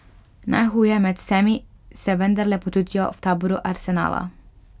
Najhuje med vsemi se vendarle počutijo v taboru Arsenala.